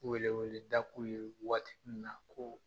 Wele weleda k'u ye nin waati in na ko